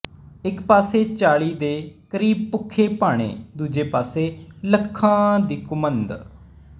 ਇੱਕ ਪਾਸੇ ਚਾਲ੍ਹੀ ਦੇ ਕਰੀਬਭੁੱਖੇ ਭਾਣੇ ਦੂਜੇ ਪਾਸੇ ਲੱਖਾਂ ਦੀ ਕੁੰਮਦ